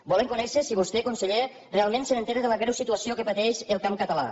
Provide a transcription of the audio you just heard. volem conèixer si vostè conseller realment s’assabenta de la greu situació que pateix el camp català